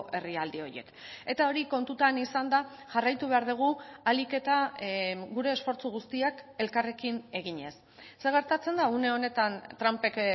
herrialde horiek eta hori kontutan izanda jarraitu behar dugu ahalik eta gure esfortzu guztiak elkarrekin eginez zer gertatzen da une honetan trumpek